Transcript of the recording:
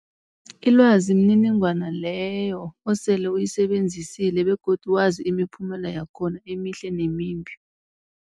Ilwazi mniningwana leyo osele uyisebenzisile begodu wazi imiphumela yakhona emihle nemimbi.